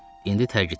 İndi tərk etmişəm.